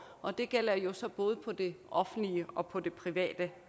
og det gælder jo så både på det offentlige og på det private